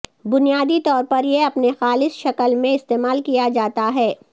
بنیادی طور پر یہ اپنے خالص شکل میں استعمال کیا جاتا ہے